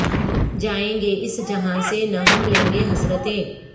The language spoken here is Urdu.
جائیں گے اس جہاں سے نہ ہم لے کے حسرتیں